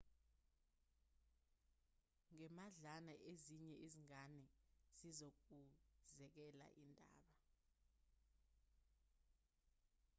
ngemadlana ezinye izingane zizokuzekela indaba